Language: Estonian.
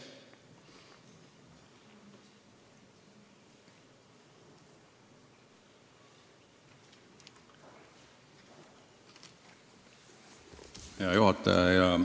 Hea juhataja!